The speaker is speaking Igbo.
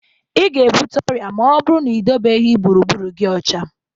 Ị ga-ebute ọrịa ma ọ bụrụ na ị dobeghi gburugburu gị ọcha.